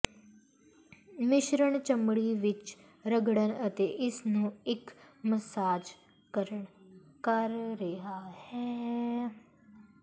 ਮਿਸ਼ਰਣ ਚਮੜੀ ਵਿੱਚ ਰਗੜਨ ਅਤੇ ਇਸ ਨੂੰ ਇੱਕ ਮਸਾਜ ਕਰ ਰਿਹਾ ਹੈ